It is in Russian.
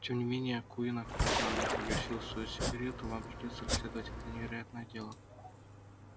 тем не менее куинн аккуратно погасил свою сигарету вам придётся расследовать это невероятное дело